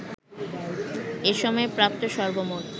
এ সময়ে প্রাপ্ত সর্বমোট